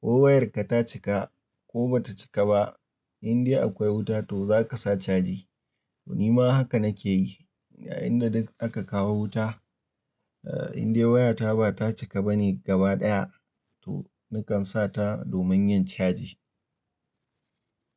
ko wayarka ta cika ko ba ta cika ba, indai akwai wuta to za ka sa caji. Ni ma haka na ke yi. A inda duk aka kawo wuta, indai wayata ba ta cika ba ne gaba daya, to nakan sa ta domin yin caji.